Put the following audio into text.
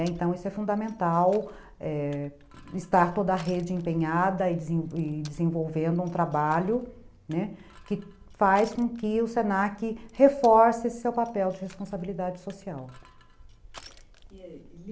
Então, isso é fundamental, é, estar toda a rede empenhada e desenvolvendo um trabalho, né, que faz com que o se na que reforce esse seu papel de responsabilidade social.